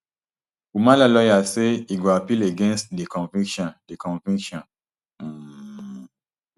humala lawyer say e go appeal against di conviction di conviction um